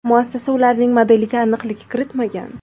Muassasa ularning modeliga aniqlik kiritmagan.